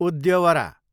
उद्यवरा